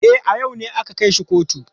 E, a yau ne aka kai shi kotu.